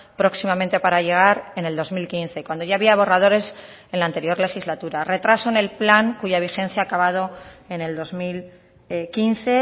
próximamente para llegar en el dos mil quince cuando ya había borradores en la anterior legislatura retraso en el plan cuya vigencia ha acabado en el dos mil quince